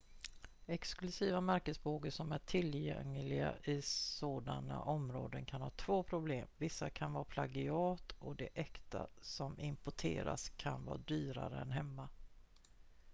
exklusiva märkesbågar som är tillgängliga i sådana områden kan ha två problem vissa kan vara plagiat och de äkta som importerats kan vara dyrare än hemma